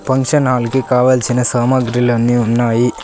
Function hall కి కావాల్సిన సామాగ్రిలన్నీ ఉన్నాయి.